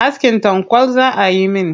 Askin tanƙwal za ayi min.